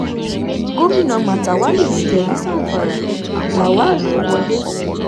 gomina matawalle lulẹ̀ ní zamfara lawal ló wọlé